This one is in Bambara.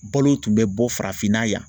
Balo tun bɛ bɔ farafinna yan